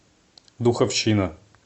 духовщина